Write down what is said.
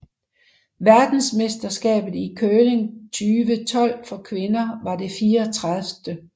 Verdensmesterskabet i curling 2012 for kvinder var det 34